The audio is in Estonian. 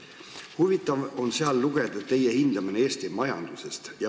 Huvitav on sealt lugeda, kuidas teie hindate Eesti majandust.